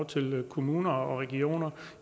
til kommuner og regioner